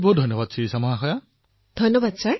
অশেষ ধন্যবাদ শিৰিষা জী